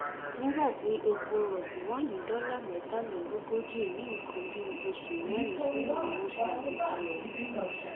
nígbà tí epo rọbì wà ní dọlà mẹtàlélógójì ní nǹkan bíi oṣù mẹrin sẹyìn ni wọn ṣe àgbékalẹ ọhún